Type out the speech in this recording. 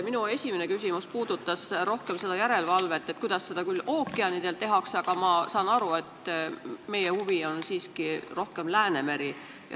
Minu esimene küsimus puudutas küll rohkem järelevalvet ja kuidas seda ookeanidel tehakse, aga ma saan aru, et meie huvi on siiski rohkem Läänemeri.